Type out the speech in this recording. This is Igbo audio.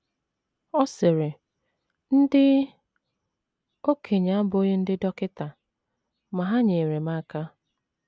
Ọ sịrị: “ Ndị okenye abụghị ndị dọkịta, ma ha nyeere m aka.